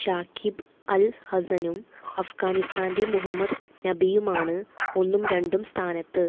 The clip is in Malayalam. ഷാക്കിബ് അല് ഹസ്സനും അഫ്ഗാനിസ്ഥാന്റെ മുഹമ്മദ് നബിയുമാണ് ഒന്നും രണ്ടും സ്ഥാനത്ത്